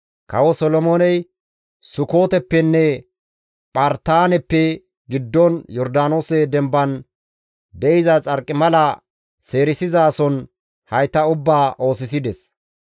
Kawo Solomooney Sukooteppenne Phartaaneppe giddon Yordaanoose dembaan de7iza xarqimala seerisizason hayta ubbaa oosisides.